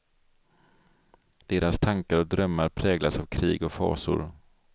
Deras tankar och drömmar präglas av krig och fasor.